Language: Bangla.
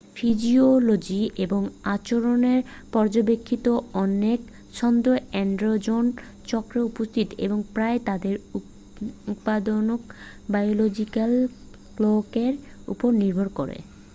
ফিজিওলজি এবং আচরনের পর্যাবেক্ষিত অনেক ছন্দ এন্ডেজন চক্রে উপস্থিত এবং প্রায়ই তাদের উৎপাদন বায়োলজিক্যাল ক্লকের উপর নির্ভর করে